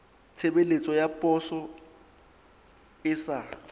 tshebeletso ya poso e sa